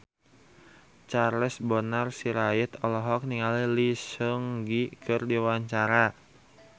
Charles Bonar Sirait olohok ningali Lee Seung Gi keur diwawancara